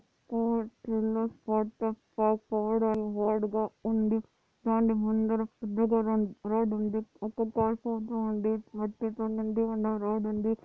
Yellow word గా ఉంది దాని ముందర పెద్దగా రన్_ రోడ్ ఉంది ఒక ప్లాట్ఫాం గా ఉంది మట్టితో నిండి ఉన్న రోడ్ ఉంది.